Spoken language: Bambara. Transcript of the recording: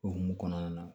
O hukumu kɔnɔna na